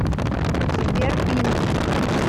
сбер пинг